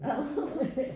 Ad